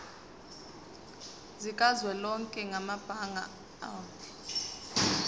sikazwelonke samabanga r